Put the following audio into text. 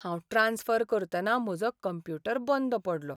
हांव ट्रांस्फर करतना म्हजो कंप्युटर बंद पडलो.